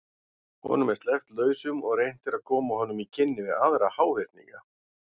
Honum er sleppt lausum og reynt er að koma honum í kynni við aðra háhyrninga.